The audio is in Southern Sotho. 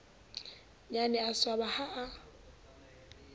nnyane a swaba ha a